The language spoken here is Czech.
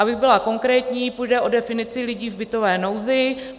Abych byla konkrétní, půjde o definici lidí v bytové nouzi.